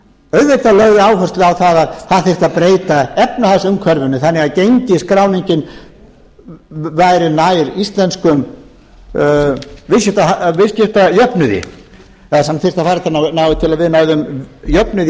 auðvitað lögðu þau áherslu á að það þyrfti að breyta efnahagsumhverfinu þannig að gengisskráningin væri nær íslenskum viðskiptajöfnuði eða til þess að við næðum jöfnuði í